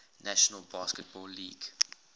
national basketball league